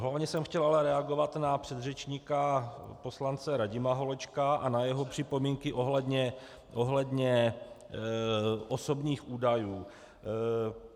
Hlavně jsem chtěl ale reagovat na předřečníka poslance Radima Holečka a na jeho připomínky ohledně osobních údajů.